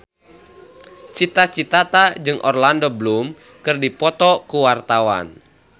Cita Citata jeung Orlando Bloom keur dipoto ku wartawan